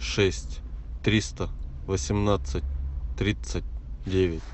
шесть триста восемнадцать тридцать девять